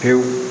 Pewu